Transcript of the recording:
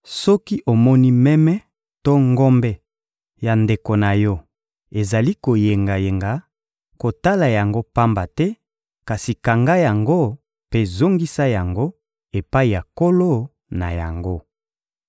Soki omoni meme to ngombe ya ndeko na yo ezali koyengayenga, kotala yango pamba te, kasi kanga yango mpe zongisa yango epai ya nkolo na yango.